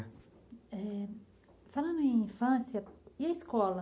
É. Falando em infância, e a escola?